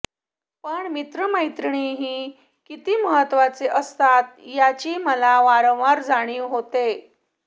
पण मित्रमैत्रिणीही किती महत्त्वाचे असतात याची मला वारंवार जाणीव होते